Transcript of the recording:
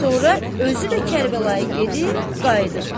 Sonra özü də Kərbəlaya gedib gəldi.